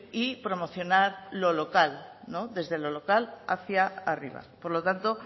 y promocionar lo local desde lo local hacia arriba por lo tanto